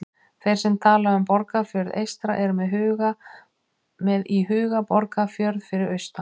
Þeir sem tala um Borgarfjörð eystra eru með í huga Borgarfjörð fyrir austan.